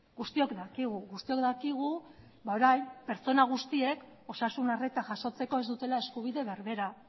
guztiok dakigu guztiok dakigu orain pertsona guztiek osasun arreta jasotzeko ez dutela eskubide berbera